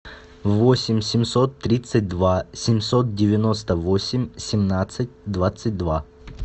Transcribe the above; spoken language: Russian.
восемь семьсот тридцать два семьсот девяносто восемь семнадцать двадцать два